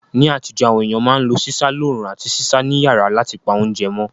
Ní àtíjó, àwon ééyàn ma n lo sísá loorún àti sísá ni yàrá látipa ounje mó